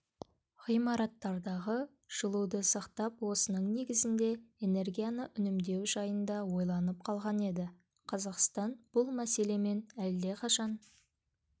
ғимараттардағы жылуды сақтап осының негізінде энергияны үнемдеу жайында ойланып қалған еді қазақстан бұл мәселемен әлдеқашан